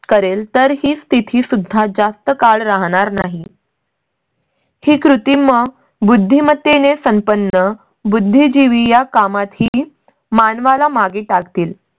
करेल तर हीच स्थिती सुद्धा जास्त काळ राहणार नाही. ही कृती मग बुद्धिमत्ते ने संपन्न बुद्धिजीवी या कामातही मानवाला मागे टाकतील